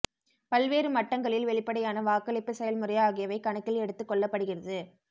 பல்வேறு மட்டங்களில் வெளிப்படையான வாக்களிப்பு செயல்முறை ஆகியவை கணக்கில் எடுத்துக் கொள்ளப்படுகிறது